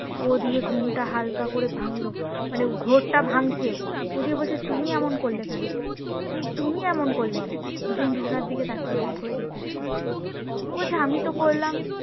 ও দিয়ে ঘুম টা হালকা করে ভাঙলো মানে ঘোর টা ভাঙছে ও দিয়ে বলছে তুমি এমন করলে কেন আমি বলছি তুমি এমন করলে কেন দুজন দুজনার দিকে তাকিয়ে এমন করে জিজ্ঞেস করছি ও বলছে আমি তো করলাম